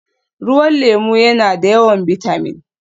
Ruwan lemu yana da yawan bitamin